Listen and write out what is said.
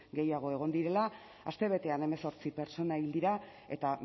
gehiago egon direla astebetean hemezortzi pertsona hil dira eta